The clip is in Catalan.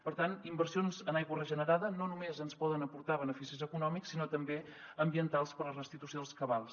per tant inversions en aigua regenerada no només ens poden aportar beneficis econòmics sinó també ambientals per la restitució dels cabals